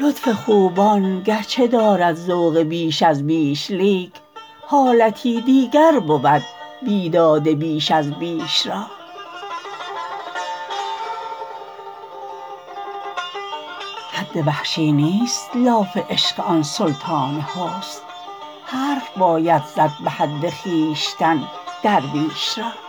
لطف خوبان گرچه دارد ذوق بیش از بیش لیک حالتی دیگر بود بیداد بیش از بیش را حد وحشی نیست لاف عشق آن سلطان حسن حرف باید زد به حد خویشتن درویش را